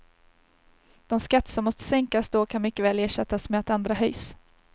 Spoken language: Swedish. De skatter som måste sänkas då kan mycket väl ersättas med att andra höjs.